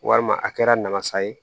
Walima a kɛra namasa ye